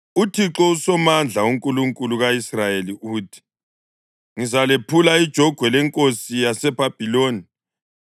“ UThixo uSomandla, uNkulunkulu ka-Israyeli uthi: ‘Ngizalephula ijogwe lenkosi yaseBhabhiloni.